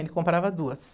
Ele comprava duas.